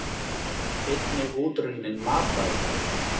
Einnig útrunnin matvæli.